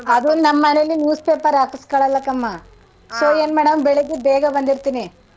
ಅದು ನಮ್ಮನೆಲಿ news paper ಹಕಸ್ಕಳಲ್ಲಾಕಮ್ಮ so ಏನ್ ಮಾಡಮ್ ಬೆಳಿಗ್ಗೆ ಬೇಗ ಬಂದಿರ್ತೀನಿ.